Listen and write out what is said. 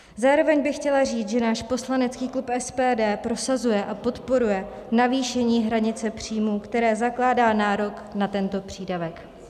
Zároveň bych chtěla říct, že náš poslanecký klub SPD prosazuje a podporuje navýšení hranice příjmů, které zakládá nárok na tento přídavek.